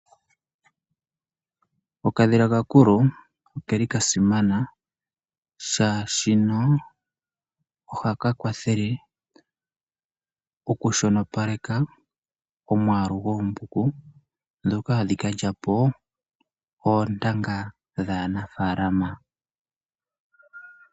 Okadhila kakulo okeli kasimana shaashino ohaka kwathele okushonopaleka omwaalu goombuku dhoka hadhi kalyapo oontanga dhaana faalama.